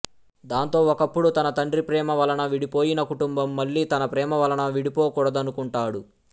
దాంతో ఒకప్పుడు తన తండ్రి ప్రేమ వలన విడిపోయిన కుటుంబం మళ్ళీ తన ప్రేమ వలన విడిపోకుడదనుకుంటాడు